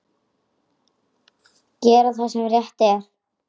Gera það sem rétt er.